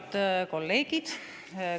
Head kolleegid!